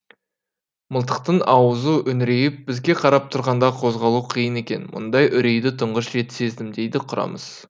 мылтықтың ауызы үңірейіп бізге қарап тұрғанда қозғалу қиын екен мұндай үрейді тұңғыш рет сездім дейді құрамыс